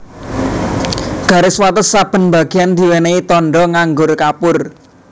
Garis wates saben bageyan diwènèhi tandha nganggo kapur